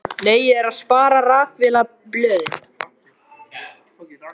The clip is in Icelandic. Nei, ég er að spara. rakvélarblöðin.